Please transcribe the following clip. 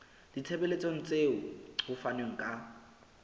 ditshebeletso tseo ho fanweng ka